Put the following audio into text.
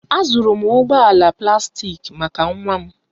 Azụrụ m ụgbọ ala plastik maka nwa m